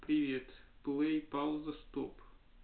привет плей пауза стоп